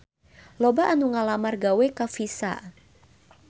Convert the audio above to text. Loba anu ngalamar gawe ka Visa